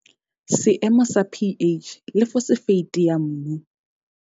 Seemo sa pH le fosefeite ya mmu.